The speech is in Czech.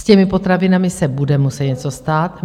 S těmi potravinami se bude muset něco stát.